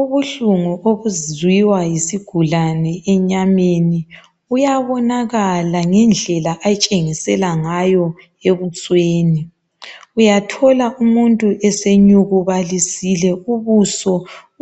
Ubuhlungu obuziwa yisigulani enyameni uyabonakala ngendlela atshengisela ngayo ebusweni. Uyathola umuntu esenyukubalise ubuso